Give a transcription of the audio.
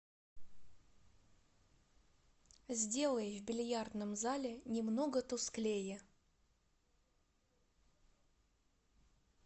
сделай в бильярдном зале немного тусклее